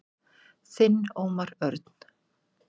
Þinn Ómar Örn.